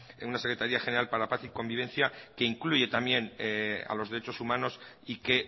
en una secretaría general para la paz y convivencia que incluye también a los derechos humanos y que